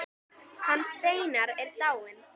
Hann Steinar er dáinn.